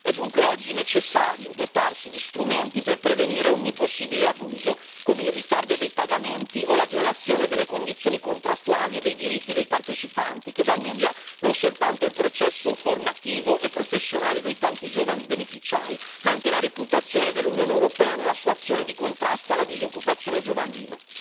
È dunque oggi necessario dotarsi di strumenti per prevenire ogni possibile abuso, come il ritardo dei pagamenti o la violazione delle condizioni contrattuali e dei diritti dei partecipanti, che danneggia non soltanto il processo formativo e professionale dei tanti giovani beneficiari ma anche la reputazione dell'Unione europea nella sua azione di contrasto alla disoccupazione giovanile.